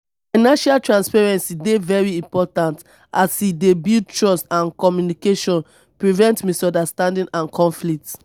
financial transparency dey very important as e dey build trust and communication prevent misunderstandings and conflicts.